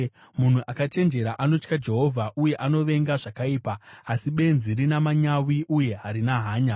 Munhu akachenjera anotya Jehovha uye anovenga zvakaipa, asi benzi rina manyawi uye harina hanya.